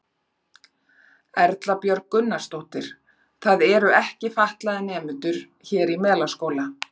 Erla Björg Gunnarsdóttir: Það eru ekki fatlaðir nemendur hér í Melaskóla?